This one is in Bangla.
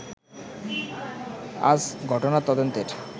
আজ ঘটনার তদন্তের